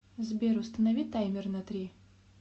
сбер установи таймер на три